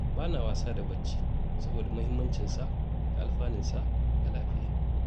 Ba na wasa da bacci, saboda muhimmancinsa da alfanunsa ga lafiya.